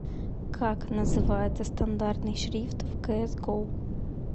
как называется стандартный шрифт в кс го